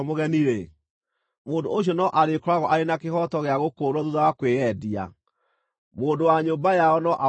mũndũ ũcio no arĩkoragwo arĩ na kĩhooto gĩa gũkũũrwo thuutha wa kwĩyendia. Mũndũ wa nyũmba yao no amũkũũre: